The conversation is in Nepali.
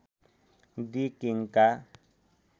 दि किङ्का